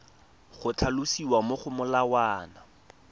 go tlhalosiwa mo go molawana